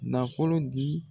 Nafolo di